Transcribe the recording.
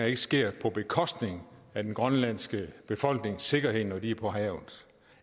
ikke sker på bekostning af den grønlandske befolknings sikkerhed når de er på havet